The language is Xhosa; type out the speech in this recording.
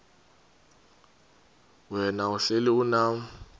wena uhlel unam